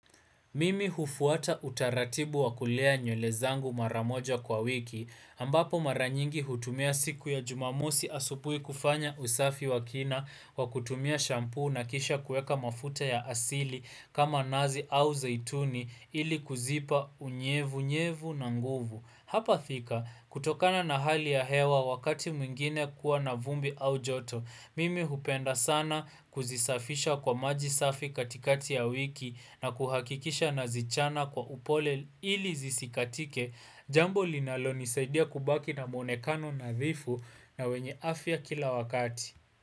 Mimi hufuata utaratibu wa kulea nywele zangu maramoja kwa wiki, ambapo mara nyingi hutumia siku ya jumamosi asubui kufanya usafi wa kina wa kutumia shampoo na kisha kuweka mafuta ya asili kama nazi au zaituni ili kuzipa unyevunyevu na nguvu. Hapa thika, kutokana na hali ya hewa wakati mwingine kuwa na vumbi au joto, mimi hupenda sana kuzisafisha kwa maji safi katikati ya wiki na kuhakikisha nazichana kwa upole ili zisikatike, jambo linalo nisaidia kubaki na mwonekano nadhifu na wenye afya kila wakati.